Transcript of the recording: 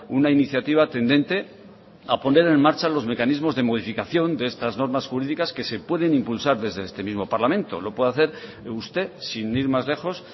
una iniciativa tendente a poner en marcha los mecanismos de modificación de estas normas jurídicas que se pueden impulsar desde este mismo parlamento lo puede hacer usted sin ir más lejos